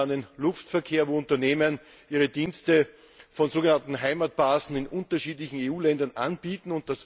Ich denke da an den Luftverkehr, wo Unternehmen ihre Dienste von so genannten Heimatbasen in unterschiedlichen EU Ländern anbieten.